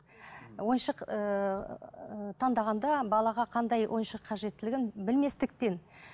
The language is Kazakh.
ойыншық ыыы таңдағанда балаға қандай ойыншық қажеттілігін білместіктен